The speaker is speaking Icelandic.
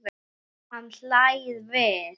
Hann hlær við.